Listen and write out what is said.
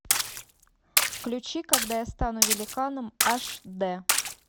включи когда я стану великаном аш д